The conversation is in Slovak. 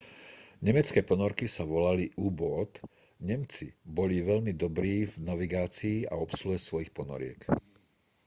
nemecké ponorky sa volali u-boot nemci boli veľmi dobrí v navigácii a obsluhe svojich ponoriek